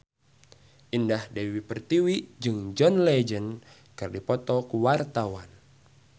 Indah Dewi Pertiwi jeung John Legend keur dipoto ku wartawan